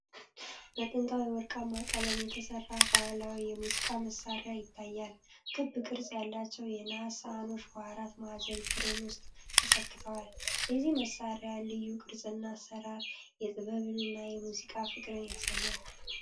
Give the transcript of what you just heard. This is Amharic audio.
በጥንታዊ ወርቃማ ቀለም የተሰራ ባህላዊ የሙዚቃ መሣሪያ ይታያል። ክብ ቅርጽ ያላቸው የነሐስ ሳህኖች በአራት ማዕዘን ፍሬም ውስጥ ተሰክተዋል። የዚህ መሣሪያ ልዩ ቅርፅና አሰራር የጥበብንና የሙዚቃን ፍቅር ያሳያል።